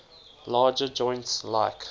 larger joints like